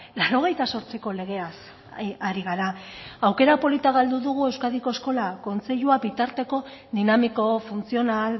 laurogeita zortziko legeaz ari gara aukera polita galdu dugu euskadiko eskola kontseilua bitarteko dinamiko funtzional